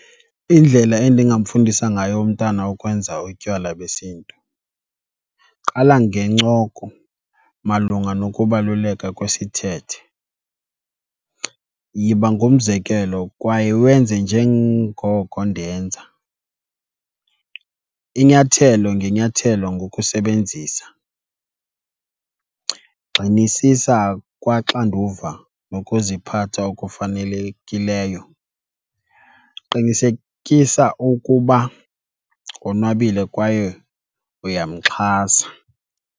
Indlela endingamfundisa ngayo umntana ukwenza utywala besiNtu qala ngencoko malunga nokubaluleka kwesithethe. Yiba ngumzekelo kwaye wenze njengoko ndenza, inyathelo ngenyathelo ngokusebenzisa, gxinisisa kwaxanduva nokuziphatha okufanelekileyo, qinisekisa ukuba wonwabile kwaye uyamxhasa.